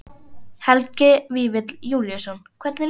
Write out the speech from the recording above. Helgi Vífill Júlíusson: Hvernig líður þér?